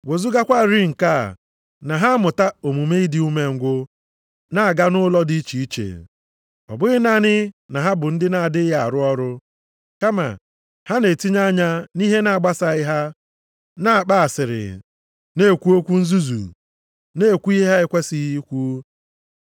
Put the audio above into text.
Wezugakwarị nke a, na ha amụta omume ịdị umengwụ, nʼaga nʼụlọ dị iche iche. Ọ bụghị naanị na ha bụ ndị na-adịghị arụ ọrụ, kama ha na-etinye anya nʼihe na-agbasaghị ha, na-akpa asịrị, na-ekwu okwu nzuzu, na-ekwu ihe ha ekwesighị ikwu.